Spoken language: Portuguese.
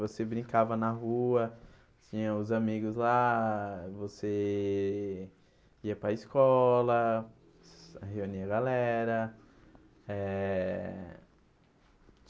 Você brincava na rua, tinha os amigos lá, você ia para a escola, reunia a galera. Eh